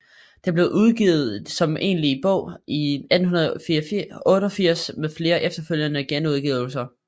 Den blev udgivet som egentlig bog i 1888 med flere efterfølgende genudgivelser